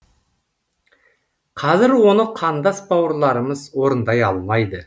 қазір оны қандас бауырларымыз орындай алмайды